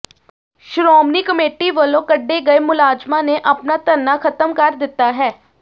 Shiromani committee ਵੱਲੋਂ ਕੱਢੇ ਗਏ ਮੁਲਾਜ਼ਮਾਂ ਨੇ ਆਪਣਾ ਧਰਨਾ ਖ਼ਤਮ ਕਰ ਦਿੱਤਾ ਹੈ